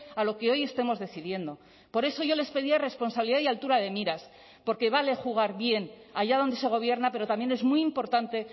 a lo que hoy estemos decidiendo por eso yo les pedía responsabilidad y altura de miras porque vale jugar bien allá donde se gobierna pero también es muy importante